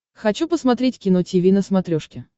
хочу посмотреть кино тиви на смотрешке